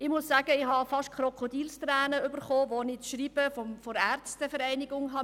Ich bekam beinahe Krokodilstränen, als ich das Schreiben der Ärztevereinigung las.